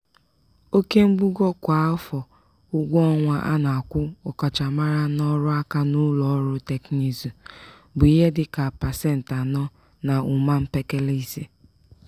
oke mbugo kwa afọ ụgwọọnwa a na-akwụ ọkachamara n'ọrụaka n'ụlọọrụ tekinụzụ bụ ihe dị ka pasentị anọ na ụma mpekele ise.